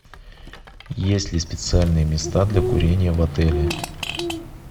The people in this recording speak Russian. есть ли специальные места для курения в отеле